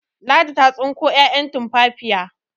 Ladi ta tsinko 'ya'yan tumfafiya